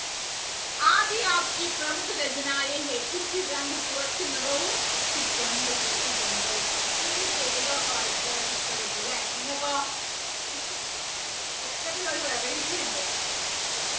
കുറച്ച് നിറവും കുറച്ച് ഗന്ധവും എനിക്ക് ഈ പേരുകൾ ഒക്കെ ഭയങ്കരമായിട്ട് ഇഷ്ട്ടപ്പെട്ടു ലേ നിങ്ങൾക്കോ ഒക്കത്തിലൊരു variety ഉണ്ട്